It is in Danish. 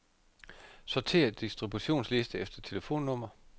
Sortér distributionsliste efter telefonnummer.